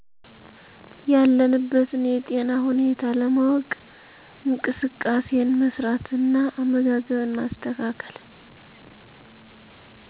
ያለንበትን የጤና ሁኔታ ለማወ፤ ቅ እንቅስቃሴን መስራት እና አመጋገብን ማስተካከል